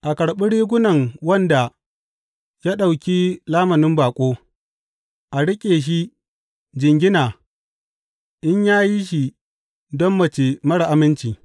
A karɓi rigunan wanda ya ɗauki lamunin baƙo; a riƙe shi jingina in ya yi shi don mace marar aminci.